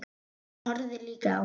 Hann horfði líka á mig.